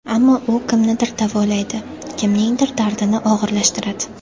Ammo u kimnidir davolaydi, kimningdir dardini og‘irlashtiradi.